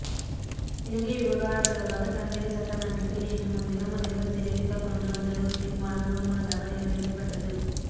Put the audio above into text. இலங்கை விவகாரம் தொடர்பாக தமிழக சட்டமன்றத்தில் நேற்று முன்தினம் முதல்வர் ஜெயலலிதா கொண்டு வந்த ஒரு தீர்மானம் ஒருமனதாக நிறைவேற்றப்பட்டது